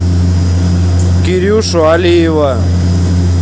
кирюшу алиева